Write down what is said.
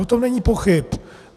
O tom není pochyb.